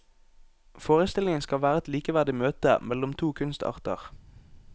Forestillingen skal være et likeverdig møte mellom to kunstarter.